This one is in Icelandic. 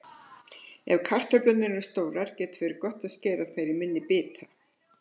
Ef kartöflurnar eru stórar getur verið gott að skera þær í minni bita.